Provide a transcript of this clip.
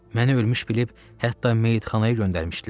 Məni ölmüş bilib, hətta meyitxanaya göndərmişdilər.